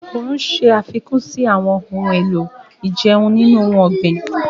Oòrùn ṣe àfikún sí àwọn ohun èlò ìjẹun nínú ohun ọ̀gbìn.